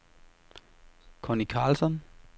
Conny Carlsson